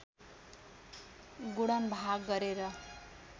गुणन भाग गरेर